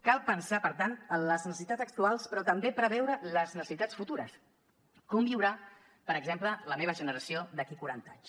cal pensar per tant en les necessitats actuals però també preveure les necessitats futures com viurà per exemple la meva generació d’aquí a quaranta anys